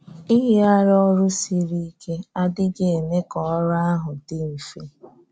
Ìyígharí́ ọrụ̀ siri íké adị́ghị eme ka ọrụ́ ahụ dị mfe.